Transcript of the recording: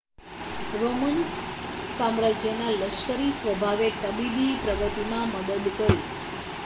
Roman સામ્રાજ્યના લશ્કરી સ્વભાવે તબીબી પ્રગતિમાં મદદ કરી